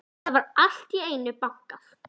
Það var allt í einu bankað.